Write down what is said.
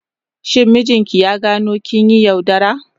Shin mijinki ya gano kin yi yaudara?